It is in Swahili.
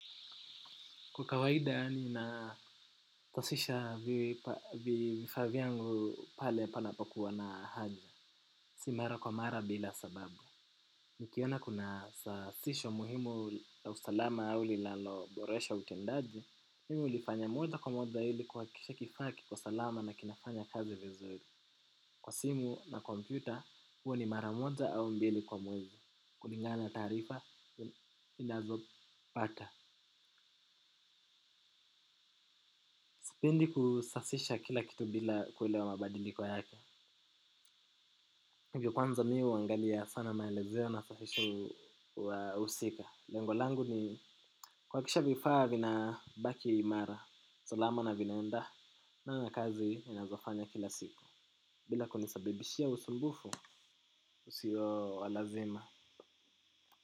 Kwa kawaida nina kusisha vifaa vyangu pale panapokuwa na haja. Si mara kwa mara bila sababu. Nikiona kuna safisho muhimu la usalama au linaloboresha utendaji. Mimi nilifanya moja kwa moja hili kuhakikisha kifaa kiko salama na kinafanya kazi vizuri. Kwa simu na kompyuta huwa ni mara moja au mbili kwa mwezi. Kulingana na taarifa ninazo pata. Sipendi kusafisha kila kitu bila kuona mabadiliko yake. Hivyo kwanza mie huangalia sana maelezo na wahusika. Lengo langu ni kuhakikisha vifaa vinabaki imara. Salama na vinaenda na kazi ninazofanya kila siku bila kunisababishia usumbufu usio wa lazima.